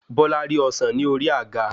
Bola rí ọsán ni ori àga